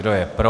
Kdo je pro?